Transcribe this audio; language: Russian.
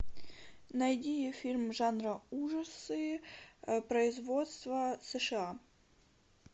найди фильм жанра ужасы производства сша